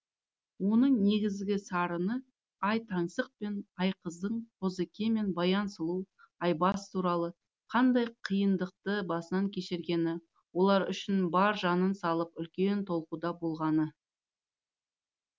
оның негізгі сарыны ай таңсық пен айқыздың қозыке мен баян сұлу айбас туралы қандай қиындықты басынан кешіргені олар үшін бар жанын салып үлкен толқуда болғаны